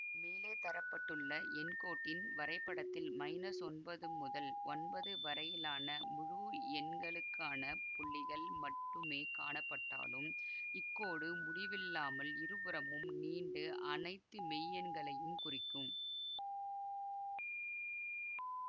மேலே தர பட்டுள்ள எண்கோட்டின் வரைபடத்தில் ஒன்பது முதல் ஒன்பது வரையிலான முழுஎண்களுக்கான புள்ளிகள் மட்டுமே காணப்பட்டாலும் இக்கோடு முடிவில்லாமல் இருபுறமும் நீண்டு அனைத்து மெய்யெண்களையும் குறிக்கும்